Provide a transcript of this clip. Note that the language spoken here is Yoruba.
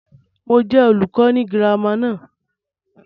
Mo jẹ olùkọ́ ni girama náà.